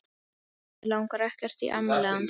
Mig langar ekkert í afmælið hans.